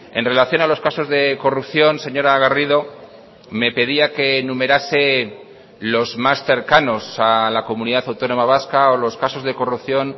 en relación a los casos de corrupción señora garrido me pedía que numerase los más cercanos a la comunidad autónoma vasca o los casos de corrupción